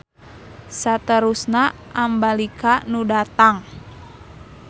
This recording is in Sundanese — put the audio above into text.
Saterusna Ambalika nu datang.